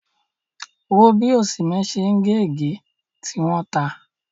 Wò ó bí Osimhen ṣe ń gé ègé, tí wọ́n ta!